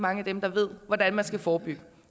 mange af dem der ved hvordan man skal forebygge